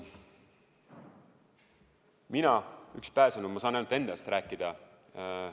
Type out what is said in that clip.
Mina, üks pääsenu, saan ainult enda eest rääkida.